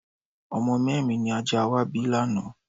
Ọmọ mẹ́rin ni ajá wa bí lánàá.